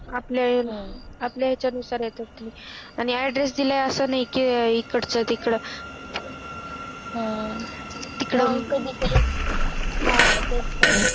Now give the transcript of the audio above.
आपले याच्या नुसार येत असतील आणि Adress दिला आहे तर असं नाही कि इकडच्या तिकडे हम्म तिकडे हा तेच तर